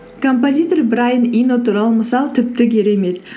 композитор брайан ино туралы мысал тіпті керемет